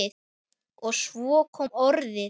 Og svo kom orðið